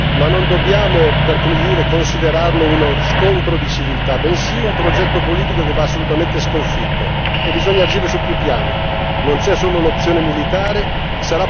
Per questa ragione è un pericolo serio, ma non dobbiamo considerarlo uno scontro di civiltà, bensì un progetto politico che va assolutamente sconfitto e bisogna agire su più piani.